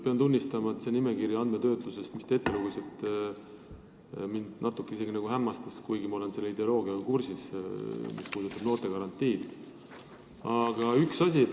Pean tunnistama, et see andmetöötluse registrite nimekiri, mis te ette lugesite, natuke hämmastas mind, kuigi ma olen noortegarantii ideega kursis.